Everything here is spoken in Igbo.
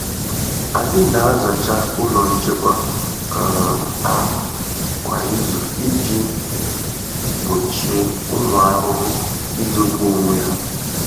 Anyị na-azacha ụlọ nchekwa um ahụ kwa izu iji gbochie ụmụ ahụhụ izobe onwe ha.